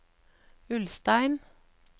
Ulstein